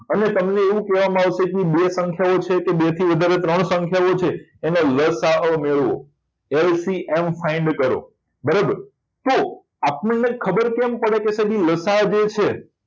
અને તમને એવું કહેવામાં આવતું હશે કે બે સંખ્યાઓ છે કે બેથી વધારે ત્રણ સંખ્યાઓ છે એનો લ. સા. અ મેળવો LCMfind કરો બરાબર તો આપણને ખબર કેમ પડે છે કે જે લસાઅ છે